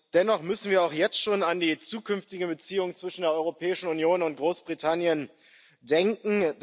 Dennoch müssen wir auch jetzt schon an die zukünftige Beziehung zwischen der Europäischen Union und Großbritannien denken.